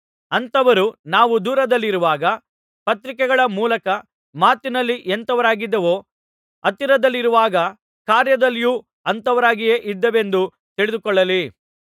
ಅಂಥವರು ನಾವು ದೂರದಲ್ಲಿರುವಾಗ ಪತ್ರಿಕೆಗಳ ಮೂಲಕ ಮಾತಿನಲ್ಲಿ ಎಂಥವರಾಗಿದ್ದೇವೋ ಹತ್ತಿರದಲ್ಲಿರುವಾಗ ಕಾರ್ಯದಲ್ಲಿಯೂ ಅಂಥವರಾಗಿಯೇ ಇದ್ದೇವೆಂದು ತಿಳಿದುಕೊಳ್ಳಲಿ